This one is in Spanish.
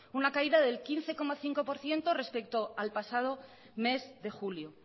una caída del quince coma cinco por ciento respecto al pasado mes de julio